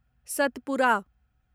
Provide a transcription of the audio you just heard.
Satpura